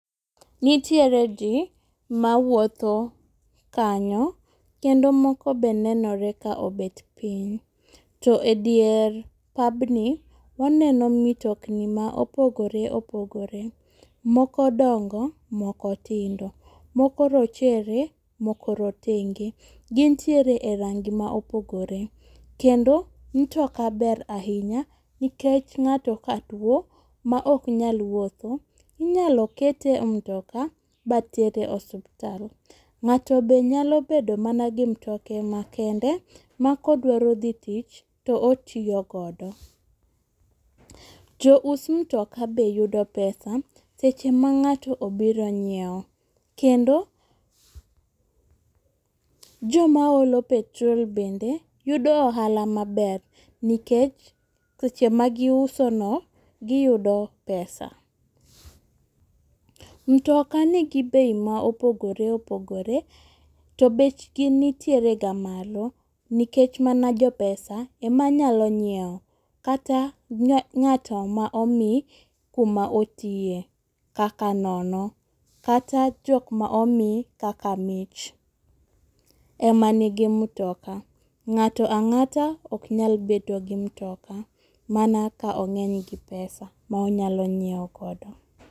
Nitiere jii mawuotho kanyo kendo moko be nenore ka obet piny .To edier pabni waneno mitokni ma opogore opogore moko dongo ,moko tindo, moko rochere moko rotenge. Gintiere e rangi ma opogore kendo mtoka ber ahinya nikech ng'ato ka tuo ma ok nyal wuotho inyalo kete e mtoka ba tere osiptal . Ng'ato be nyalo bedo mana gi mtoke makende ma kodwaro dhi tich totiyo godo. Jous mtoka be yudo pesa seche ma ng'ato obiro nyiewo kendo joma olo petrol bende yudo ohala maber nikech seche ma giuso no giyudo pesa. Mtoka nigi bei mopogore opogore to bechgi nitiere ga malo nikech mana jo pesa ema nyalo nyiewo kata ng'at ma omi kuma otiye kaka nono kata jok ma omi kaka mich ema nigi mtoka. Ng'ata ang'ata ok nyal bedo gi mtoka mana ka ong'eny gi pesa ma onyalo nyiewo godo.